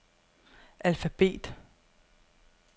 alfabet